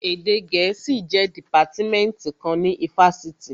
Èdè gẹ̀ẹ́sì jẹ́ dìpátímẹ́ǹtì kan ní ifásitì